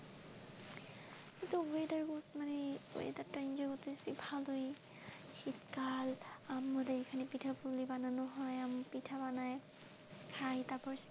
মানে এই weather টাকে enjoy করতেসি ভালোই, শীতকাল আমাদের এখানে পিঠাপুলি বানানো হয় পিঠা বানায় খাই তারপর।